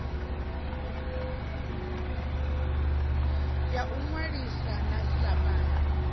ya u inwalisa sa silahapani